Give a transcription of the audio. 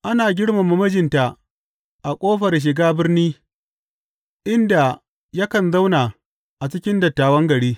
Ana girmama mijinta a ƙofar shiga birni inda yakan zauna a cikin dattawan gari.